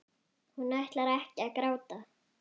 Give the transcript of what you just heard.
Hún ætlar ekki að gráta.